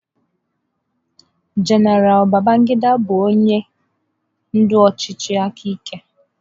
General Babangida bụ onye ndu ọchịchị aka ike.